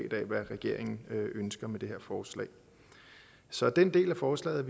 regeringen ønsker med det her forslag så den del af forslaget